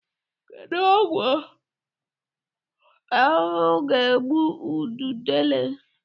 Kedụ ọgwụ ahụhụ ga-egbu ududele?